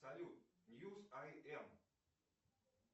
салют ньюс ай эм